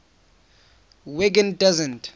wiggin doesn t